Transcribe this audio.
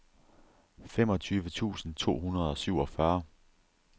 femogtyve tusind to hundrede og syvogfyrre